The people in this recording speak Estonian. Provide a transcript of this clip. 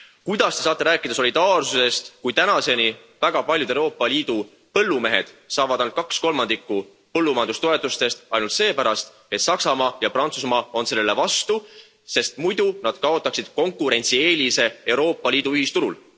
Kuidas Te saate rääkida solidaarsusest, kui tänaseni saavad väga paljud Euroopa Liidu põllumehed ainult kaks kolmandikku põllumajandustoetustest üksnes seepärast, et Saksamaa ja Prantsusmaa on selle vastu, sest muidu nad kaotaksid konkurentsieelise Euroopa Liidu ühisturul.